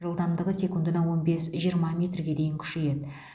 жылдамдығы секундына он бес жиырма метрге дейін күшейеді